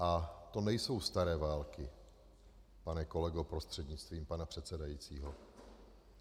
A to nejsou staré války, pane kolego prostřednictvím pana předsedajícího.